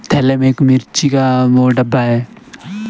थैले में एक मिर्ची का ओ डब्बा है।